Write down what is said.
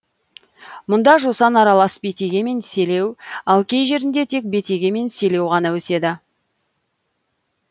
мұнда жусан аралас бетеге мен селеу ал кей жерінде тек бетеге мен селеу ғана өседі